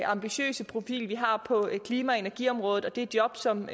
ambitiøse profil vi har på klima og energiområdet og det er jobs som